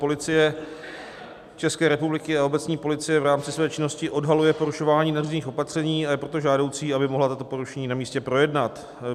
Policie České republiky a obecní policie v rámci své činnosti odhaluje porušování nařízených opatření, a je proto žádoucí, aby mohla tato porušení na místě projednat.